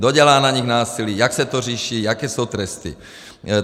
Kdo dělá na nich násilí, jak se to řeší, jaké jsou tresty.